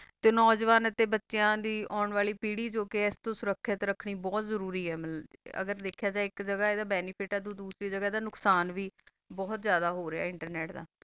ਤਾ ਨੋਜਵਾਨ ਬਚਾ ਦੀ ਹੋਣ ਵਾਲੀ ਪਾਰੀ ਆ ਸੁਰਾਕ੍ਖ਼ਤ ਰਖਨੀ ਬੋਹਤ ਜ਼ਰੋਰ ਆ ਅਗਰ ਦਾਖਾ ਜਯਾ ਤਾ ਅੰਦਾ ਬੇਨਿਫਿਤ ਆ ਤਾ ਦੋਸਾਰੀ ਗਾਘਾ ਤਾ ਨੁਖ੍ਸਾਂ ਵੀ ਬੋਹਤ ਆ ਹੋ ਰਹਾ ਆ internet ਦਾ